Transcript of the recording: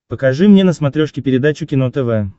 покажи мне на смотрешке передачу кино тв